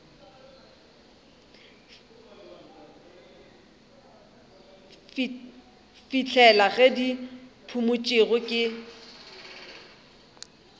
fihlela ge di phumotšwe ke